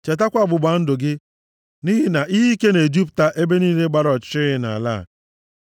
Chetakwa ọgbụgba ndụ gị, nʼihi na ihe ike na-ejupụta ebe niile gbara ọchịchịrị nʼala a.